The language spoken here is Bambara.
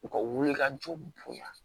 U ka wulikajɔw bonya